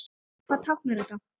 Hvað táknar þetta?